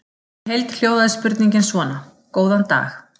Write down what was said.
Í heild hljóðaði spurningin svona: Góðan dag.